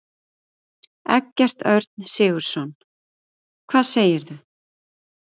Eggert Örn Sigurðsson: Hvað segirðu?